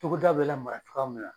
Togoda bɛ lamara cogoya min na.